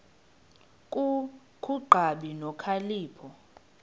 ku kungabi nokhalipho